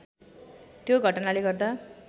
त्यो घटनाले गर्दा